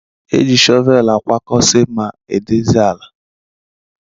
E ji shọvel akwakọsi, ma dozie ala.